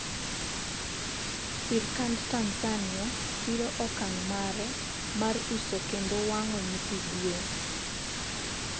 sirikand Tanzania siro okang' mare mar uso kendo wang'o nyithi gwen